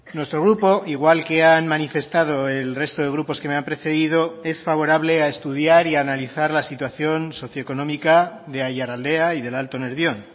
nuestro grupo igual que han manifestado el resto de grupos que me han precedido es favorable a estudiar y a analizar la situación socio económica de aiaraldea y del alto nervión